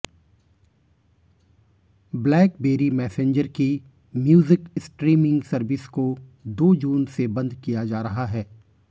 blackberry Messenger की music streaming service को दो जून से बंद किया जा रहा है